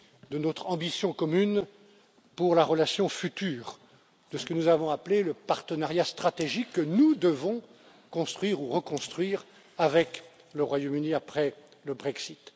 de notre ambition commune pour la relation future de ce que nous avons appelé le partenariat stratégique que nous devons construire ou reconstruire avec le Royaume Uni, après le Brexit.